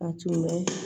A tun bɛ